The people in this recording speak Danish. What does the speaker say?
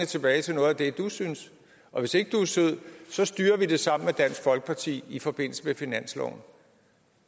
tilbage til noget af det du synes og hvis ikke du er sød styrer vi det sammen med dansk folkeparti i forbindelse med finansloven